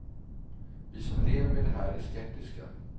Vi som lever med det här är skeptiska.